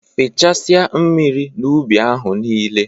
Fechasia mmiri n'ubi ahụ nile!.